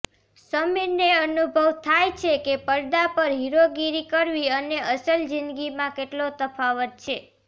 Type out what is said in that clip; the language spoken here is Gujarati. સમીરને અનુભવ થાય છે કે પડદા પર હીરોગીરી કરવી અને અસલ જીંદગીમાં કેટલો તફાવત છે